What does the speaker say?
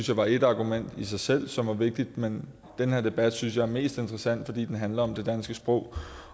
jeg var ét argument i sig selv som var vigtigt men den her debat synes jeg er mest interessant fordi den handler om det danske sprog